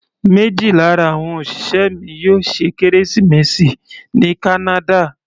Méjì lára àwọn òṣìṣẹ́ mi yóò ṣe kérésìmesì ní kánádà.